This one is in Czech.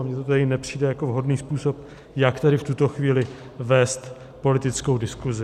A mně to tedy nepřijde jako vhodný způsob, jak tady v tuto chvíli vést politickou diskusi.